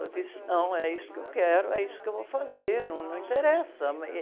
Eu disse, não, é isso que eu quero, é isso que eu vou fazer, num, não interessa.